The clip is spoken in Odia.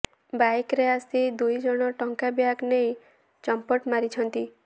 ବାଇକରେ ଆସି ଦୁଇ ଜଣ ଟଙ୍କା ବ୍ୟାଗ୍ ନେଇ ଚମ୍ପଟ ମାରିଛନ୍ତି